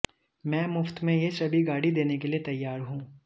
मैं मुफ्त में ये सभी गाड़ी देने के लिए तैयार हूं